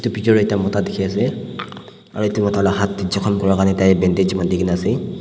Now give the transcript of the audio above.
picture tae ekta mota dikhiase aro edu mota la hat tae jokhom kurakarni Tai bandage bandikae na ase.